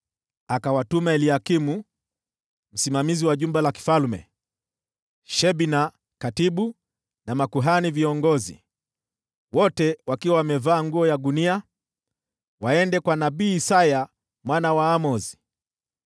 Akawatuma Eliakimu msimamizi wa nyumba ya mfalme, Shebna mwandishi, na viongozi wa makuhani, wote wakiwa wamevaa nguo za magunia, waende kwa nabii Isaya mwana wa Amozi.